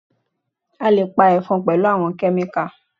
A lè pa Ẹ̀fọn pẹ̀lú àwọn Kẹ́míkà